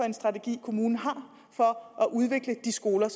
en strategi kommunen har for at udvikle de skoler